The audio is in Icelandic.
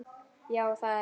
Já, það er hann.